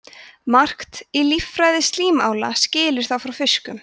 margt í líffræði slímála skilur þá frá fiskum